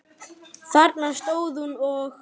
Þarna stóð hún og.